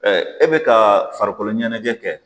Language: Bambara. e bi ka farikolo ɲɛnajɛ kɛ